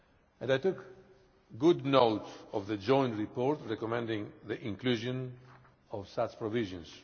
and I took good note of the joint report recommending the inclusion of such provisions.